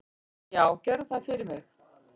"""Já, gerðu það fyrir mig!"""